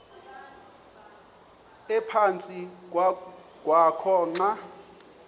ephantsi kwakho xa